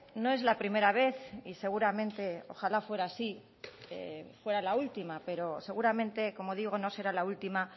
no es la primera vez y seguramente ojalá fuera así fuera la última pero seguramente como digo no será la última